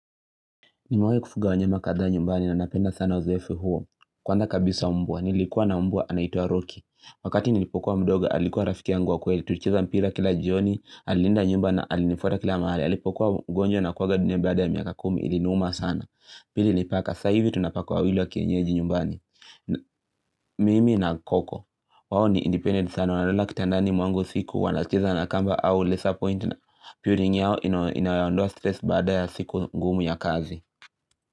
Nimewahi kufuga wanyama kadhaa nyumbani na napenda sana uzoefu huo. Kwanza kabisa mbwa, nilikuwa na mbwa anaitwa Rocky. Wakati nilipokuwa mdogo, alikuwa rafiki yangu wa kweli. Tulicheza mpira kila jioni, alilinda nyumba na alinifuata kila mahali. Alipokuwa mgonjwa na kuaga dunia baada ya miaka kumi, iliniuma sana. Pili ni paka, sa hivi tuna paka wawili wa kienyeji nyumbani. Mimi na koko, wao ni independent sana, wanalala kitandani mwangu usiku, wanacheza na kamba au laser point na puring yao inayoondoa stress baada ya siku ngumu ya kazi.